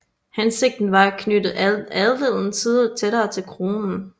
Hensigten var at knytte adelen tættere til Kronen